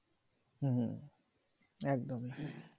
হম একদম হ্যাঁ